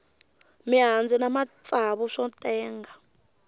mihandzu na matsavu swo tenga